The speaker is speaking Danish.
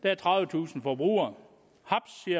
er tredivetusind forbrugere